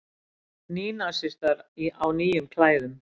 Nýnasistar á nýjum klæðum